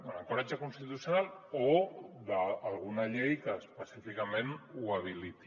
un ancoratge constitucional o d’alguna llei que específicament ho habiliti